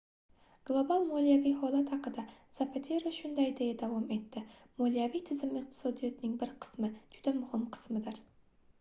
global moliyaviy holat haqida zapatero shunday deya davom etdi moliyaviy tizim iqtisodning bir qismi juda muhim qismidir